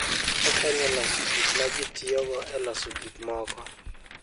Okonyo e loso gik ma ji tiyogo e loso gik moko.